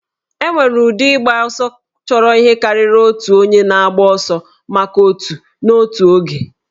E nwere ụdị ịgba ọsọ chọrọ ihe karịrị otu onye na-agba ọsọ maka otù n'otu oge